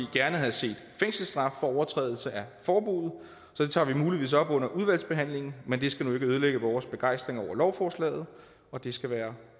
gerne havde set fængselsstraf for overtrædelse af forbuddet så det tager vi muligvis op under udvalgsbehandlingen men det skal nu ikke ødelægge vores begejstring over lovforslaget og det skal være